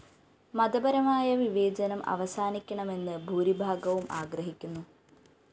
മതപരമായ വിവേചനം അവസാനിക്കണമെന്ന് ഭൂരിഭാഗവും ആഗ്രഹിക്കുന്നു